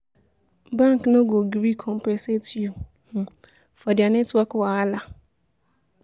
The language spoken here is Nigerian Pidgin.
bank no go gree compensate yu um for dia network wahala